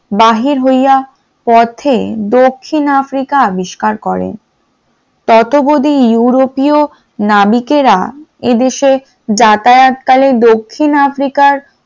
বাহির হইয়া পথে দক্ষিণ আফ্রিকার আবিষ্কার করেন । ততব্দি ইউরোপীয় নাবিকেরা এদেশে যাতায়াতকালে দক্ষিণ আফ্রিকা র